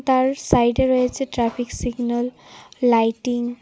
তার সাইডে রয়েছে ট্রাফিক সিগন্যাল লাইটিং .